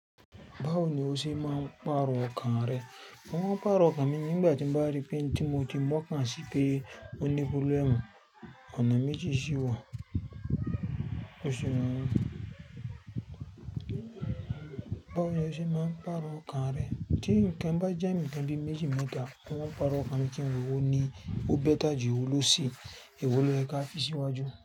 Báwo ni o ṣe máa ń pàrọ̀ ọkàn rẹ? Mo ń pàrọ̀ ọkàn mi nígbà tí n bá rí pé n tí mo ti mọ́ kàn sí pé ó ní problem, ọ̀nà méjì ṣí wa Báwo ni o ṣe máa ń pàrọ̀ ọkàn rẹ? Tí nǹkan bá jẹ́ nǹkan bí i méjì méta, mo ń pàrọ̀ ọkàn mi kí n wò ewo ní ó bẹ́ta jù ewo lóòsí, ewo lò yẹ̀ ká fi sí iwájú.